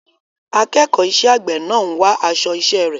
Akẹ́kọ̀ọ́ iṣẹ́ àgbẹ̀ náà ń wá aṣọ iṣẹ́ rẹ̀.